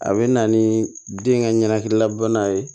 A bɛ na ni den ka ɲɛnan ye